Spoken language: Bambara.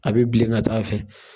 A be bilen ka ta'a fɛ